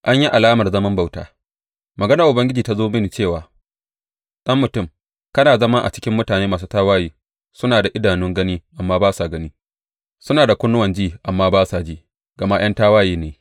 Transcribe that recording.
An yi alamar zaman bauta Maganar Ubangiji ta zo mini cewa ɗan mutum, kana zama a cikin mutane masu tawaye, Suna da idanun gani amma ba sa gani, suna da kunnuwan ji amma ba sa ji, gama ’yan tawaye ne.